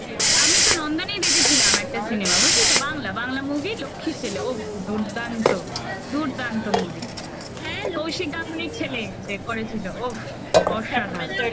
আমি তো নন্দনেই দেখেছিলাম একটা cinema বুঝলি তো বাংলা বাংলা movie লক্ষী ছেলে উফ! দুর্দান্ত দুর্দান্ত movie কৌশিক গাঙ্গুলির ছেলে যে করেছিল ওফ অসাধারণ